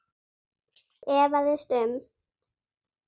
efaðist um